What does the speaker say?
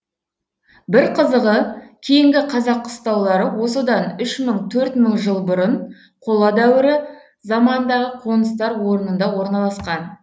бір қызығы кейінгі қазақ қыстаулары осыдан үш мың төрт мың жыл бұрын қола дәуірі заманындағы қоныстар орнында орналасқан